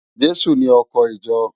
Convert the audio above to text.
Jesu ni òkò ijò